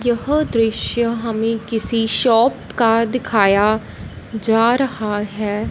यह दृश्य हमें किसी शॉप का दिखाया जा रहा है।